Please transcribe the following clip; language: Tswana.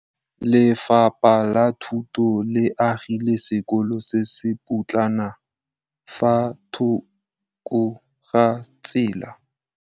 Lefapha la Thuto le agile sekôlô se se pôtlana fa thoko ga tsela.